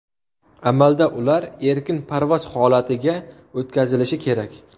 Amalda ular erkin parvoz holatiga o‘tkazilishi kerak.